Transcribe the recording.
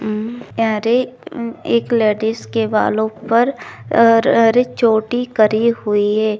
उम अरे उम एक लेडीज के बालो पर अर अर चोटी करी हुई है।